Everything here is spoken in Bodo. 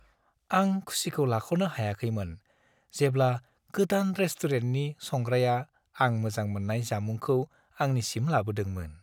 आं खुसिखौ लाख'नो हायाखैमोन, जेब्ला गोदान रेस्टुरेन्टनि संग्राया आं मोजां मोननाय जामुंखौ आंनिसिम लाबोदोंमोन।